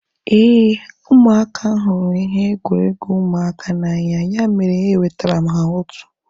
Éè, ụmụaka hụrụ ihe egwuregwu ụmụaka n'anya ya mere e wetara m ha otu